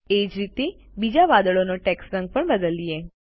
એ જ રીતે બીજા વાદળનો ટેક્સ્ટ રંગ પણ બદલીએ